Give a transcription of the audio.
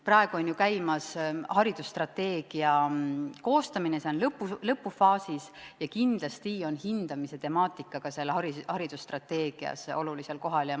Praegu on ju käimas haridusstrateegia koostamine, see on lõppfaasis, ja kindlasti on hindamise temaatika ka selles olulisel kohal.